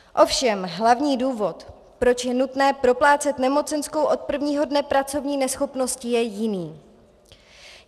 Ovšem hlavní důvod, proč je nutné proplácet nemocenskou od prvního dne pracovní neschopnosti, je jiný.